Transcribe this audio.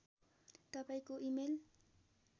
तपाईँको इमेल